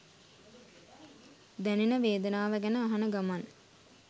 දැනෙන වේදනාව ගැන අහන ගමන්